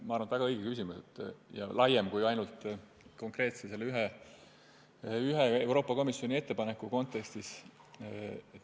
See on väga õige küsimus ja minu arvates laiema tähendusega kui ainult selle konkreetse Euroopa Komisjoni ettepaneku kontekstis.